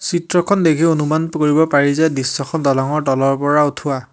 চিত্ৰখন দেখি অনুমান কৰিব পাৰি যে দৃশ্যখন দলংৰ তলৰ পৰা উঠোৱা।